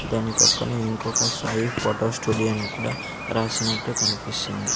దాని పక్కన ఇంకొక సాయి ఫోటో స్టూడియో అని కూడా రాసినట్టు కనిపిస్తుంది.